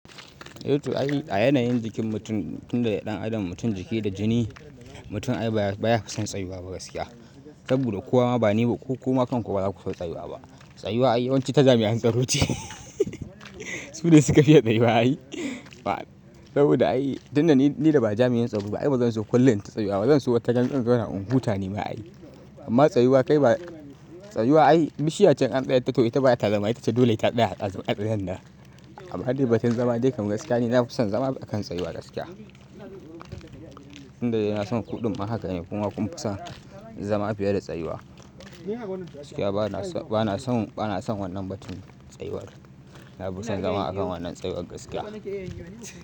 Eh toh ai a yanayin jikin mutum, tun da ɗan adam mutum jiki da jini, mutum ai baya fi son tsayuwa ba gaskiya. Saboda ko wa ma ba ni ba ko kuma kanku ba za ku so tsayuwa ba. Tsayuwa ai yawanci ta jami'an tsaro ce su ne su ka fiya tsayuwa yi. Saboda ni da ba jami'in tsaro ba, ai bazan so kullum ta tsayuwa. Zan so wataran zan zauna in huta ni ma ai. Amma tsayuwa kai ba, tsayuwa ai bishiya ce in an tsaya ta to ita bata zama itace dole ta ɗaya a tsaye yadda. Amma dai batun zama dai kam gaskiya ni na fi son zama a kan tsayuwa gaskiya. Tun da dai na son kuɗin ma haka ne kuma kun fi son zama fiye da tsayuwa. Gaskiya bana son wannan batun tsayuwar. Na fi son zama a kan wannan tsayuwar gaskiya.